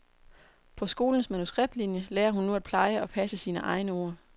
På skolens manuskriptlinje lærer hun nu at pleje og passe sine egne ord.